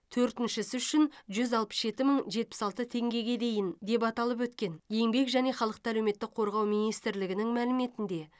төртіншісі үшін жүз алпыс жеті мың жетпіс алты теңгеге дейін деп аталып өткен еңбек және халықты әлеуметтік қорғау министрлігінің мәліметінде